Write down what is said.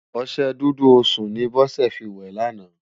Oṣè Dúdú Osún ni Bose fi wè làná